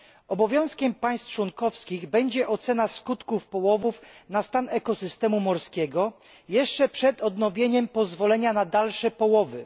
Obowiązkiem państw członkowskich będzie ocena oddziaływania połowów na stan ekosystemu morskiego jeszcze przed odnowieniem pozwolenia na dalsze połowy.